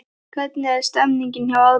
Hvernig er stemningin hjá Árborg?